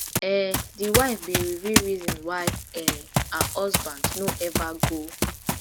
um di wife bin reveal reason why um her husband no ever go